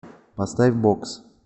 поставь бокс